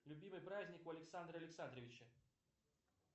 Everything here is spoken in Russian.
любимый праздник у александра александровича